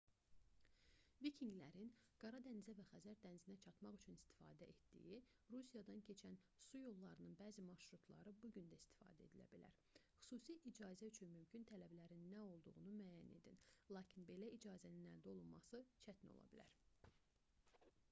vikinqlərin qara dənizə və xəzər dənizinə çatmaq üçün istifadə etdiyi rusiyadan keçən su yollarının bəzi marşrutları bu gün də istifadə edilə bilər xüsusi icazə üçün mümkün tələblərin nə olduğunu müəyyən edin lakin belə icazənin əldə olunması çətin ola bilər